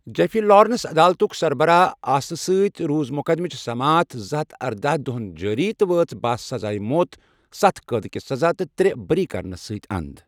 Jeffrey Lawrence عدالتُک سربراہ آسنہٕ سۭتۍ روٗز مقدمٕچہِ سماعت زٕہتھ ارداہ دۄہَن جٲری تہٕ وٲژ بہَہ سزائے موت، ستھَ قٲدٕکہِ سزا تہٕ ترے بٔری کرنس سۭتۍ اند ۔